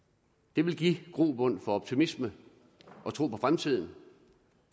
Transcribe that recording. det vil give grobund for optimisme og tro på fremtiden